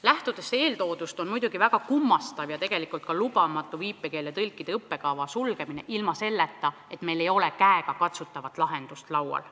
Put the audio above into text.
Lähtudes eeltoodust on väga kummastav ja tegelikult ka lubamatu viipekeeletõlkide õppekava sulgemine ilma, et meil oleks käega katsutav lahendus laual.